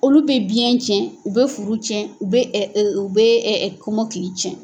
Olu bɛ biyɛn cɛn u bɛ furu cɛn u bɛ u bɛ kɔmɔkili cɛn.